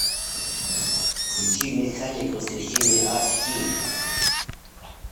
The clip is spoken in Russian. включи механик воскресенье аш ди